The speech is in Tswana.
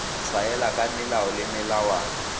tshwaela ka melao le melawana